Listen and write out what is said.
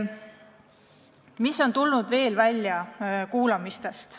Mis veel on kuulamiste käigus välja tulnud?